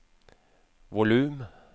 volum